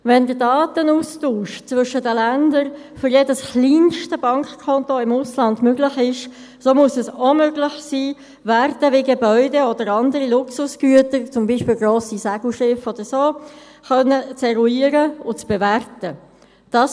Wenn der Datenaustausch zwischen den Ländern für jedes kleinste Bankkonto im Ausland möglich ist, so muss es auch möglich sein, Werte wie Gebäude oder andere Luxusgüter, zum Beispiel grosse Segelschiffe oder so, eruieren und bewerten zu können.